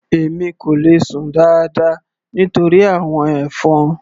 Èmi kò le sùn dáadáa nítorí àwọn ẹ̀fọn.